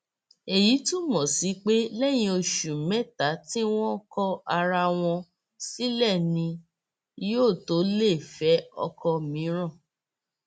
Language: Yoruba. èyí túmọ sí pé lẹyìn oṣù mẹta tí wọn kọ ara wọn sílẹ ni yóò tó lè fẹ ọkọ mìíràn